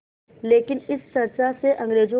लेकिन इस चर्चा से अंग्रेज़ों